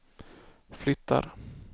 flyttar